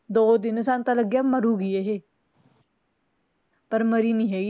ਦੋ ਦਿਨ ਸਾਨੂੰ ਤਾਂ ਲਗਿਆ ਮਰੂਗੀ ਏਹੇ ਪਰ ਮਰੀ ਨੀ ਹੈਗੀ